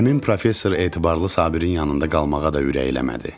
Əmim professor Etibarlı Sabirin yanında qalmağa da ürəklənmədi.